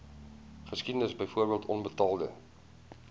geskiedenis byvoorbeeld onbetaalde